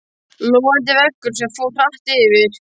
Logandi veggur sem fór hratt yfir.